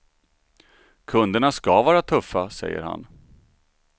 Kunderna ska vara tuffa, säger han.